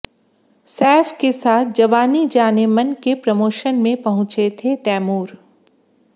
सैफ के साथ जवानी जानेमन के प्रमोशन में पहुंचे थे तैमूर